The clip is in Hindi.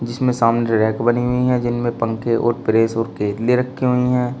जिसमें सामने रैक बनी हुई हैं जिनमें पंखे और प्रेस और केतली रखी हुई हैं।